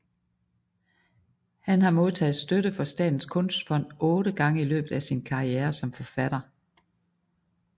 Han har modtaget støtte fra Statens Kunstfond otte gange i løbet af sin karriere som forfatter